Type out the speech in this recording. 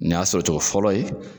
Nin y'a sɔrɔ cogo fɔlɔ ye